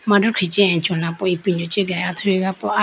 mandikhi chee achola po ipindo chee ge athuyi po aye.